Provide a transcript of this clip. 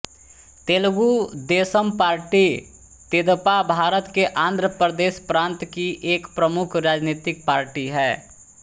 Telugu Desam party तेदेपा भारत के आंध्र प्रदेश प्रांत की एक प्रमुख राजनैतिक पार्टी है